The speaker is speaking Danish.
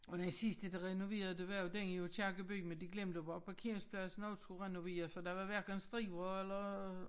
Og den sidste de renoverede det var jo den i Aakirkeby men de glemte bare at parkeringspladsen også skulle renoveres så der var hverken striber eller